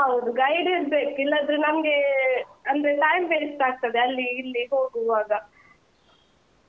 ಹೌದು guide ಇರ್ಬೇಕ್, ಇಲ್ಲಾದ್ರೆ ನಮ್ಗೇ ಅಂದ್ರೆ time waste ಆಗ್ತದೆ ಅಲ್ಲಿ ಇಲ್ಲಿ ಹೋಗುವಾಗ,